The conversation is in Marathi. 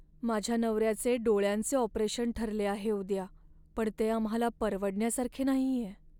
माझ्या नवऱ्याचे डोळ्यांचे ऑपरेशन ठरले आहे उद्या, पण ते आम्हाला परवडण्यासारखे नाहीये.